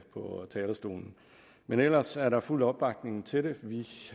på talerstolen men ellers er der fuld opbakning til det vi